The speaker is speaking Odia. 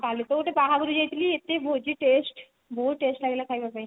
କାଲି ତ ଗୋଟେ ବାହାଘରକୁ ଯାଇଥିଲି ଏତେ ଭୋଜି taste ବହୁତ taste ଲାଗିଲା ଖାଇବା ପାଇଁ